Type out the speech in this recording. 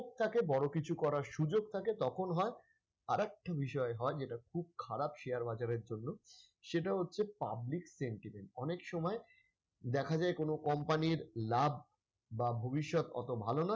থাকে বড় কিছু করার সুযোগ থাকে তখন হয়, আর একটা বিষয় হয় যেটা খুব খারাপ share বাজারের জন্য সেটা হচ্ছে public sentiment অনেক সময় দেখা যায় কোন company র লাভ বা ভবিষ্যত অত ভালো নয়